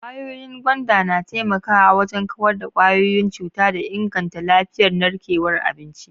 Kwayoyin gwanda na taimakawa wajen kawar da kwayoyin cuta da inganta lafiyar narkewar abinci.